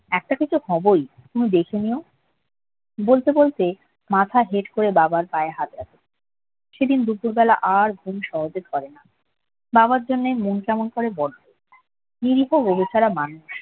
একটা কিছু হবোই তুমি দেখে নিও বলতে বলতে মাথা হেট করে বাবার পায়ে হাত সেদিন দুপুর বেলা আর ঘুম সহজে ধরে না বাবার জন্য মন কেমন করে নিরীহ ছাড়া মানুষ